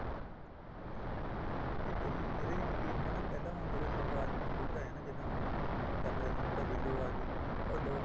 ਠੀਕ ਆ ਜੀ ਇਹਦੇ ਵਿੱਚ ਕੀ ਹੁੰਦਾ ਆ ਨਾ ਪਹਿਲਾਂ ਜਦੋਂ ਸ਼ੁਰਆਤ ਚ computer ਆਇਆ ਨਾ ਜਿੱਦਾਂ ਹੁਣ ਚੱਲ ਰਹੇ ਨੇ ਹੁਣ ਤਾਂ window ਆਗੀ or DOS